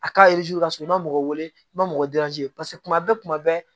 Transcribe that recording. A k'a ka sɔrɔ i ma mɔgɔ wele i ma mɔgɔ paseke kuma bɛɛ kuma bɛɛ